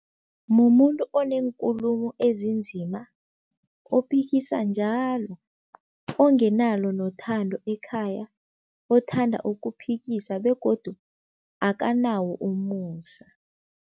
Mumuntu oneenkulumo ezinzima, ophikisa njalo, ongenalo nothando ekhaya, othanda ukuphikisa begodu akanawo umusa.